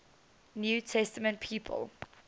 new testament people